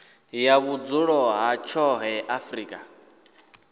ya vhudzulo ha tshoṱhe afrika